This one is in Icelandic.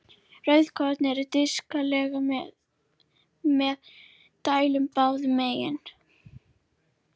Rauðkorn eru disklaga með dæld báðum megin.